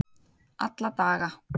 alla daga